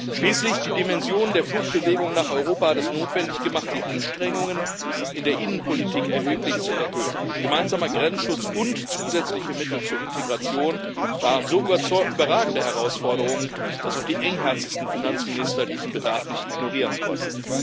Schließlich hat die Dimension der Fluchtbewegung nach Europa hat es notwendig gemacht, die Anstrengungen in der Innenpolitik erheblich zu erhöhen. Gemeinsamer Grenzschutz und zusätzliche Mittel zur Integration waren so überragende Herausforderungen, dass auch die engherzigsten Finanzminister diesen Bedarf nicht ignorieren konnten.